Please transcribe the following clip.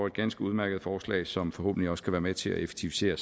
et ganske udmærket forslag som forhåbentlig også kan være med til at effektivisere